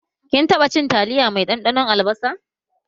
Kin taɓa cin taliyar mai ɗanɗanon albasa?